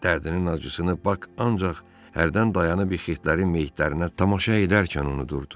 Dərdinin acısını Bak ancaq hərdən dayanib ikitlərin meyitlərinə tamaşa edərkən unudurdu.